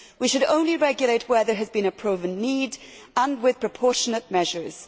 We should only regulate where there has been a proven need and with proportionate measures.